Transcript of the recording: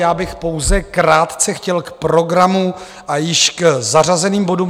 Já bych pouze krátce chtěl k programu a k již zařazeným bodům.